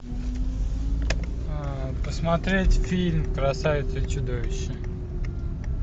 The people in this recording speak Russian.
посмотреть фильм красавица и чудовище